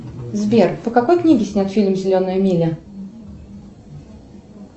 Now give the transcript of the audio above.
сбер по какой книге снят фильм зеленая миля